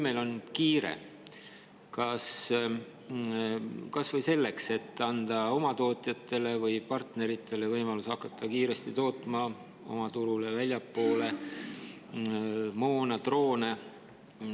Meil on kiire kas või sellega, et anda oma tootjatele või partneritele võimalus hakata kiiresti tootma oma turule ja ka väljapoole nii moona kui droone.